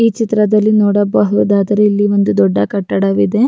ಈ ಕಟ್ಟಡದ ಒಳಗೆ ತುಂಬ ಬುಲ್ಲೆಟ್ಗಳು ನಿಂತಿದೆ ಇಲ್ಲಿ ಒಂದು ಸ್ಟೂಲ್ ಕೂಡ ಇಟ್ಟಿದ್ದಾರೆ.